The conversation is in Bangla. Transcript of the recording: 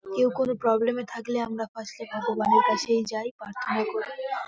কেউ কোন প্রবলেম -এ থাকলে আমরা ফার্স্ট -এ কাকুর বাড়ির কাছেই যাই প্রার্থনা করি ।